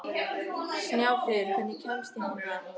Snjáfríður, hvernig kemst ég þangað?